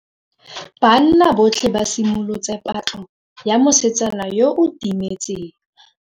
Banna botlhê ba simolotse patlô ya mosetsana yo o timetseng.